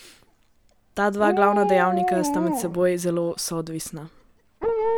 Ta dva glavna dejavnika sta med seboj zelo soodvisna.